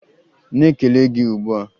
Na-ekele gị ugbu a!